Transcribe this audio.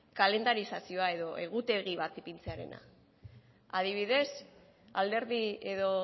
kalendarizazioa edo egutegi bat ipintzearena adibidez alderdi edo